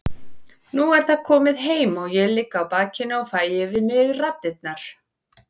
Nú er það komið heim og ég ligg á bakinu og fæ yfir mig raddirnar.